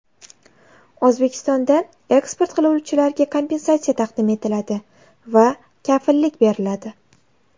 O‘zbekistonda eksport qiluvchilarga kompensatsiya taqdim etiladi va kafillik beriladi.